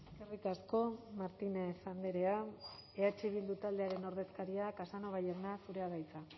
eskerrik asko martínez andrea eh bildu taldearen ordezkaria casanova jauna zurea da hitza